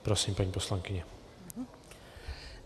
Prosím, paní poslankyně.